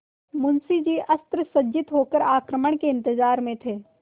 मुंशी जी अस्त्रसज्जित होकर आक्रमण के इंतजार में थे